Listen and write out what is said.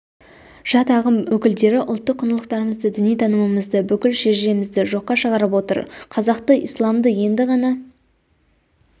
жат ағым өкілдері ұлттық құндылықтарымызды діни танымымызды бүкіл шежіремізді жоққа шығарып отыр қазақты ислмады енді ғана